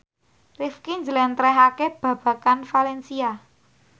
Rifqi njlentrehake babagan valencia